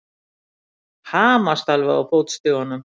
Hamast alveg á fótstigunum!